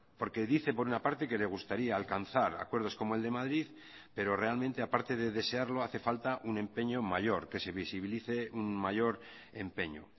porque dice por una parte que le gustaría alcanzar acuerdos como el de madrid pero realmente aparte de desearlo hace falta un empeño mayor que se visibilice un mayor empeño